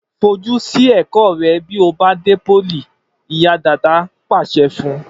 Fojú sí ẹ̀kọ́ rẹ bí ó bá dé pólì!', ìyá Dàda pa á láṣẹ fun